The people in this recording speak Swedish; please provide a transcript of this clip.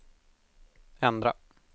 ändra